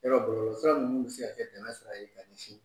Yar ɔ de min